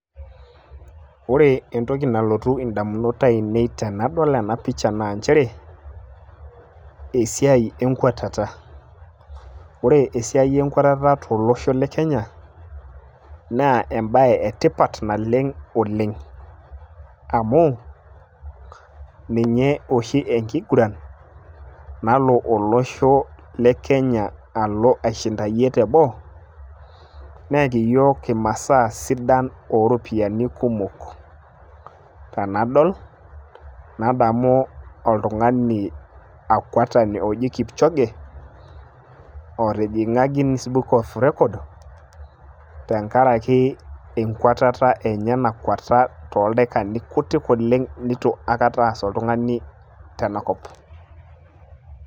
ore entoki nalotu damunot aainei tenadol ena picha naa nchere esiai enkwatata. ore esiai enkwatata tolosho le kenya, naa ebae etipat naleng' oleng. amu ninye oshi enkiguran nalo olosho, le kenya alo aishinayie teboo, neeki iyiook imasaa ooropiyiani kumok. tenadol, nadamu oltung'ani, akwetani oji kipchoge, otijing'a gins book of record tenkaraki enkwatata enye nakweta tooldaikani kutik oleng neitu aikata ees oltung'ani tena kop.